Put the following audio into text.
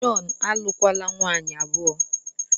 Jọn, alụkwala nwunye abụọ!